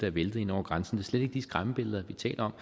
er væltet ind over grænsen slet ikke de skræmmebilleder vi taler